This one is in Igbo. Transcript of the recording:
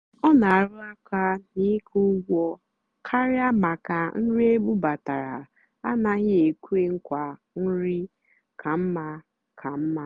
ọ́ nà-àrụ́ àká nà ị́kwụ́ ụ́gwọ́ kàrị́á màkà nrì ébúbátárá ánàghị́ ékwé nkwaà nrì kà mmá. kà mmá.